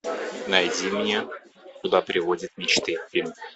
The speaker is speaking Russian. найди мне куда приводят мечты фильм